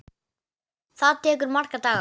Það tekur marga daga!